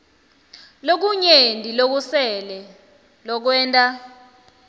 lokunyenti lokusele lokwenta